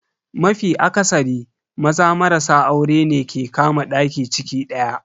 Mafi akasari, Maza marasa aurene ke kama daki ciki daya.